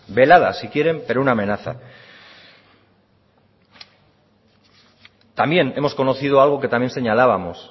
velada si quieren pero una amenaza también hemos conocido algo que también señalábamos